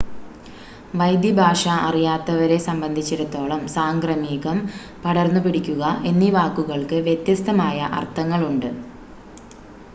വൈദ്യഭാഷ അറിയാത്തവരെ സംബന്ധിച്ചിടത്തോളം സാംക്രമികം പടർന്നുപിടിക്കുക എന്നീ വാക്കുകൾക്ക് വ്യത്യസ്ഥമായ അർത്ഥങ്ങളുണ്ട്